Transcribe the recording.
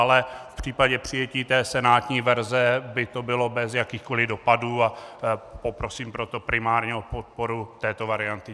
Ale v případě přijetí té senátní verze by to bylo bez jakýchkoliv dopadů, a poprosím proto primárně o podporu této varianty.